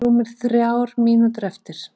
Rúmar þrjár mínútur eftir